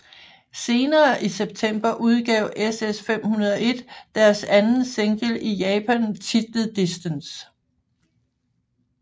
Senere i setemper udgav SS501 deres anden single i Japan titlet Distance